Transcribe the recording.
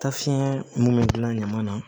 Ta fiɲɛ mun bɛ gilan ɲama na